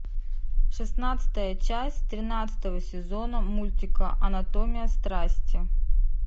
шестнадцатая часть тринадцатого сезона мультика анатомия страсти